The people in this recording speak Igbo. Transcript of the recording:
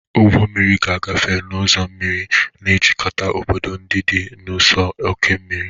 Ụgbọ mmiri ga-agafe n'ụzọ mmiri, na-ejikọta obodo ndị dị n'ụsọ oké osimiri.